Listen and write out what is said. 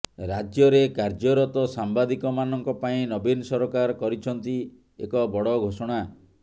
ରାଜ୍ୟରେ କାର୍ଯ୍ୟରତ ସାମ୍ବାଦିକମାନଙ୍କ ପାଇଁ ନବୀନ ସରକାର କରିଛନ୍ତି ଏକ ବଡ଼ ଘୋଷଣା